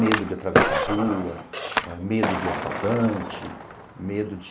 Medo de atravessar a rua, medo de assaltante, medo de...